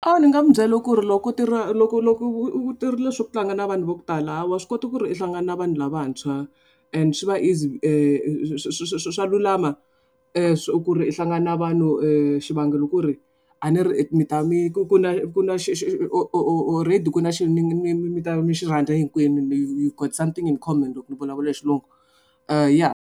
A ndzi nga mu byela ku ri loko u tirhile swa ku tlanga na vanhu va ku tala ha wa swi kota ku ri u hlangana na vanhu lavantshwa and swi va easy swa lulama ku ri u hlangana na vanhu xivangelo ku ri a ni ri mi ta mi ku na already ku nna mi ta va mi xi rhandza hinkwenu you've got something in common loko ni vulavula hi xilungu ya.